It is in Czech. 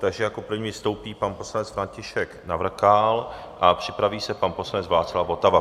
Takže jako první vystoupí pan poslanec František Navrkal a připraví se pan poslanec Václav Votava.